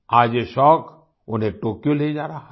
आज ये शौक उन्हें टोक्यो ले जा रहा है